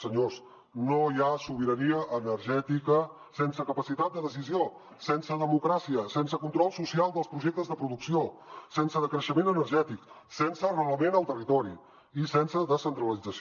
senyors no hi ha sobirania energètica sense capacitat de decisió sense democràcia sense control social dels projectes de producció sense decreixement energètic sense arrelament al territori i sense descentralització